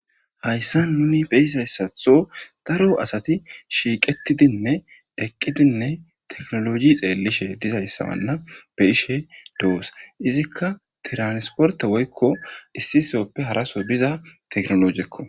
hayssa nuni beisayssatho daro asati shiiqetidinne eqqidinne teknoloji xeellishe dizayssabanna be ishe doos izikka tiransporte woykko issisoppe haraso biza teknolojekko